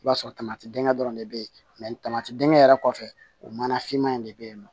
I b'a sɔrɔ dingɛ dɔrɔn de be yen tamati dinkɛ yɛrɛ kɔfɛ o mana finma in de bɛ yen nɔ